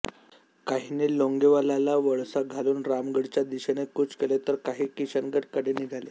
काहींनी लोंगेवालाला वळसा घालून रामगडच्या दिशेने कूच केले तर काही किशनगड कडे निघाले